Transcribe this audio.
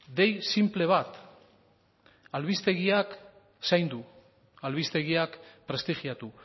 dei sinple bat albistegiak zaindu albistegiak prestigiatu